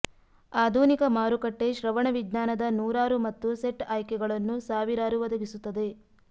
ಆಧುನಿಕ ಮಾರುಕಟ್ಟೆ ಶ್ರವಣವಿಜ್ಞಾನದ ನೂರಾರು ಮತ್ತು ಸೆಟ್ ಆಯ್ಕೆಗಳನ್ನು ಸಾವಿರಾರು ಒದಗಿಸುತ್ತದೆ